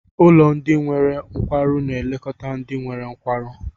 Ụlọ ndị nwere nkwarụ na-elekọta ndị nwere nkwarụ.